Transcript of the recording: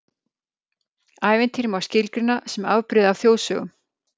Ævintýri má skilgreina sem afbrigði af þjóðsögum.